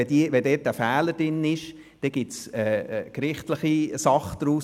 Wenn ein Fehler enthalten ist, entsteht eine gerichtliche Sache daraus.